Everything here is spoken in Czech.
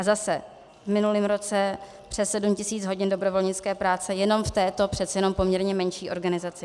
A zase v minulém roce přes 7 tisíc hodin dobrovolnické práce jenom v této přece jenom poměrně menší organizaci.